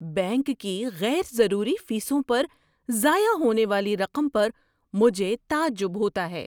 Bank کی غیر ضروری فیسوں پر ضائع ہونے والی رقم پر مجھے تعجب ہوتا ہے۔